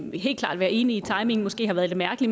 være enig i at timingen måske har været lidt mærkelig